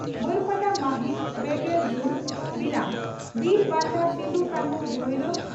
ᱵᱟᱹᱨᱯᱟᱫᱟ ᱢᱟᱹᱦᱤᱛ ᱯᱮᱜᱮᱞ ᱡᱩᱱ (ᱵᱤᱨᱟᱢ) ᱺ ᱵᱤᱨ ᱵᱟᱱᱴᱟ ᱥᱤᱫᱚᱼᱠᱟᱱᱦᱩ ᱵᱷᱟᱭᱨᱚ